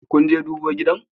Kunje dubo gidan?